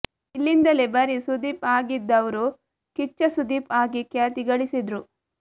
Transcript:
ಇಲ್ಲಿಂದಲೇ ಬರಿ ಸುದೀಪ್ ಆಗಿದ್ದವ್ರು ಕಿಚ್ಚ ಸುದೀಪ್ ಆಗಿ ಖ್ಯಾತಿ ಗಳಿಸಿದ್ರು